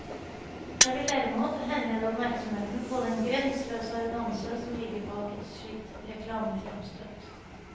Jeg vil derimot henlede oppmerksomheten på den grenseløse arroganse som ligger bak et slikt reklamefremstøt.